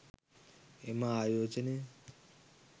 එම ආයෝජනය